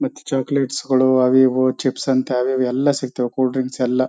ಮತ್ತೆ ಚೊಕ್ಲೆಟ್ಸ್ ಗಳು ಅವು ಇವು ಚಿಪ್ಸ್ ಅಂತೇ ಅವು ಇವು ಎಲ್ಲ ಸಿಕ್ತಾವು ಕೂಲ್ ಡ್ರಿಂಕ್ಸ್ ಎಲ್ಲ.